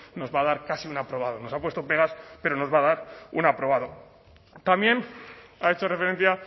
nos va a dar casi un aprobado nos ha puesto pegas pero nos va a dar un aprobado también ha hecho referencia